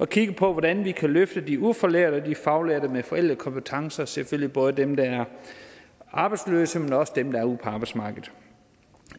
at kigge på hvordan vi kan løfte de ufaglærte og de faglærte med forældede kompetencer selvfølgelig både dem der er arbejdsløse men også dem der er ude på arbejdsmarkedet